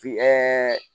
Fin ɛɛ